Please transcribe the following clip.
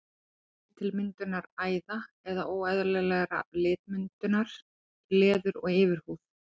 Þetta leiðir til myndunar æða eða óeðlilegrar litmyndunar í leður- og yfirhúð.